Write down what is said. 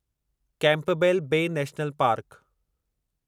Campbell Bay National park